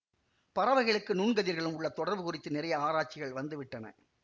பறவைகளுக்கு நுண்கதிர்களுக்கும் உள்ள தொடர்பு குறித்து நிறைய ஆராய்ச்சிகள் வந்துவிட்டன